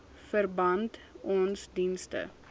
verband ons dienste